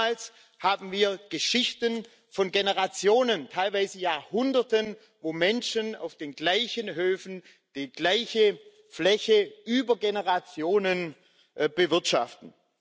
Oftmals haben wir Geschichten von Generationen, teilweise Jahrhunderten, wo Menschen auf den gleichen Höfen die gleiche Fläche über Generationen bewirtschaften.